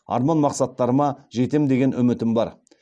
арман мақсаттарыма жетем деген үмітім бар